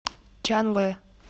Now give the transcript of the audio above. чанлэ